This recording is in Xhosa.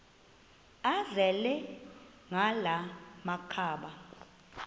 azele ngala makhaba